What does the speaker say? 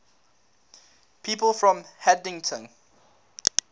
people from haddington